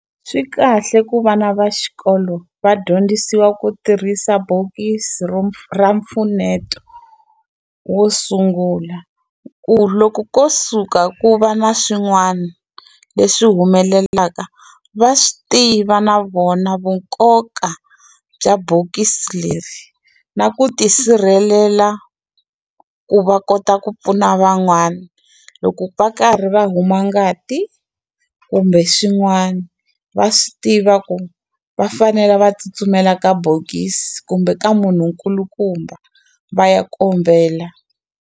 Swi kahle ku vana va xikolo va dyondzisiwa ku tirhisa bokisi ra mpfuneto wo sungula ku loko ko suka ku va na swin'wani leswi humelelaka va swi tiva na vona vu nkoka bya bokisi leri na ku tisirhelela ku va kota ku pfuna van'wana loko va karhi va a huma ngati kumbe swin'wana va swi tiva ku va fanela va tsutsumela ka bokisi kumbe ka munhu nkulukumba va ya kombela.